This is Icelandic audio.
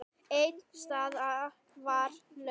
Ein staða var laus.